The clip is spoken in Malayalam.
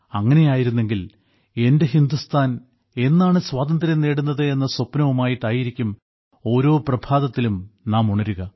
അങ്ങനെയായിരുന്നെങ്കിൽ എന്റെ ഹിന്ദുസ്ഥാൻ എന്നാണ് സ്വാതന്ത്ര്യം നേടുന്നത് എന്ന സ്വപ്നവുമായിട്ടായിരിക്കും ഓരോ പ്രഭാതത്തിലും നാം ഉണരുക